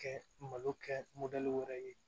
Kɛ malo kɛ wɛrɛ ye